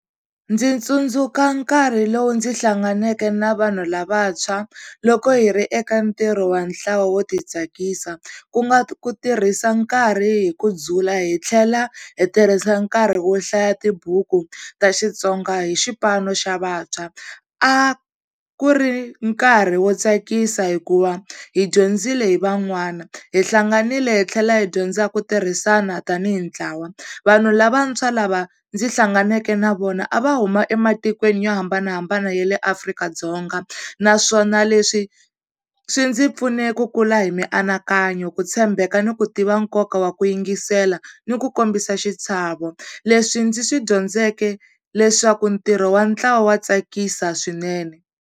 Ndzi tsundzuka nkarhi lowu ndzi hlanganeke na vanhu lavantshwa loko hi ri eka ntirho wa ntlawa wo ti tsakisa ku nga ku tirhisa nkarhi hi ku dzula, hi tlhela hi tirhisa nkarhi wo hlaya tibuku ta Xitsonga hi xipano xa vantshwa. A ku ri nkarhi wo tsakisa hikuva hi dyondzile hi van'wana, hi hlanganile hi tlhela hi dyondza ku tirhisana tanihi ntlawa. Vanhu lavantshwa lava ndzi hlanganeke na vona a va huma ematikweni yo hambanahambana ya le Afrika-Dzonga, naswona leswi swi ndzi pfune ku kula hi mianakanyo, ku tshembeka ni ku tiva nkoka wa ku yingisela ni ku kombisa xichavo. Leswi ndzi swi dyondzeke leswaku ntirho wa ntlawa wa tsakisa swinene.